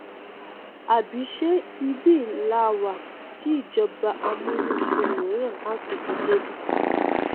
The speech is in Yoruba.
àbí ṣe ibẹ làá wà tí ìjọba amúnisìn míràn á tún fi dé bí